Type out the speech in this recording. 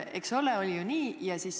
Eks ole, oli ju nii?